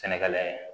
Sɛnɛgalɛ